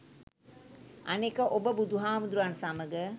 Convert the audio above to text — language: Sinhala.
අනෙක ඔබ බුදුහාමුදුරුවන් සමග